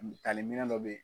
Misaliminɛn dɔ bɛ yen.